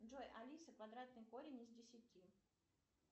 джой алиса квадратный корень из десяти